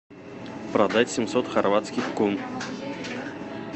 продать семьсот хорватских кун